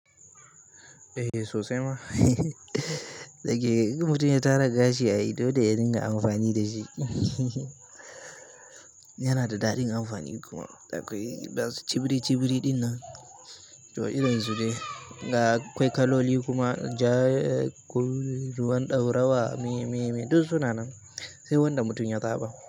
Eh sosai ma. Da ke in mutum ya tara gashi ai dole ya dinga amfani da shi. Yana da daɗin amfani kuma akwai bas cibiri cibiri ɗinnan to irin su ne. Ga akwai kaloli kuma ja, kun ruwan ɗaurawa me me me duk suna nan sai wanda mutum ya zaɓa.